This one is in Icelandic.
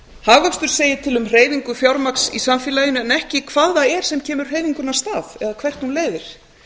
hagvöxtur segir til um hreyfingu fjármagns í samfélaginu en ekki hvað það er sem kemur hreyfingunni af stað eða hvert hún leiðir